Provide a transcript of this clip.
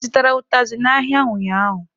Ị zụtara ụtazị n'ahịa ụnyaahụ?.